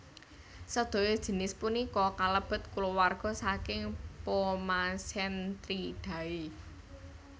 Sedaya jinis punika kalebet kulawarga saking Pomacentridae